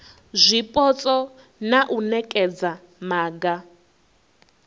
zwipotso na u nekedza maga